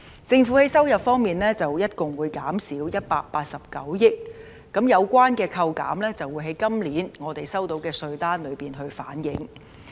政府在收入方面會減少共189億元，而有關的扣減將會在我們本年收到的稅單中反映。